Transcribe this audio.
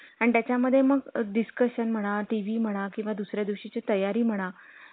आणि त्याचा मध्ये म discussion म्हणा, TV म्हणा, किंवा दुसऱ्या दिवशी ची तयारी म्हणा